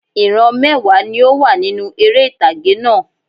Ìran mẹ́wàá ni ó wà nínú eré ìtàgé náà